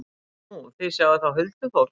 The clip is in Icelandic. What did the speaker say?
Nú, þið sjáið þá huldufólk?